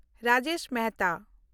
Rajesh Mehta